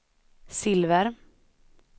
silver